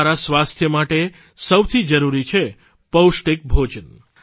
સારા સ્વાસ્થ્ય માટે સૌથી જરૂરી છે પૌષ્ટિક ભોજન